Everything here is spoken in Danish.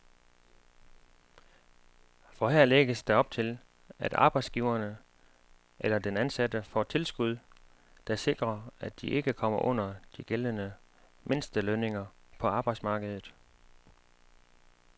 For her lægges der op til, at arbejdsgiveren eller den ansatte får tilskud, der sikrer, at de ikke kommer under de gældende mindstelønninger på arbejdsmarkedet.